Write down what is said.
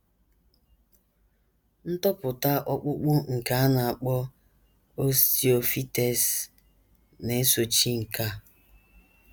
Ntopụta ọkpụkpụ nke a na - akpọ osteophytes na - esochi nke a.